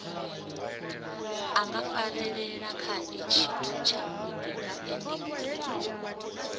a ngafarelelakhae tshithutshavhudi ngaendiuri o